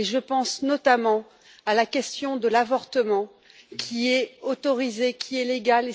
Je pense notamment à la question de l'avortement, qui est autorisé et légal.